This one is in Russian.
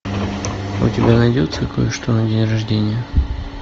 у тебя найдется кое что на день рождения